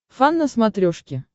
фан на смотрешке